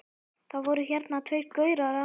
Það voru hérna tveir gaurar áðan.